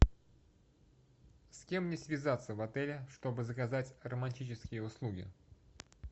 с кем мне связаться в отеле чтобы заказать романтический услуги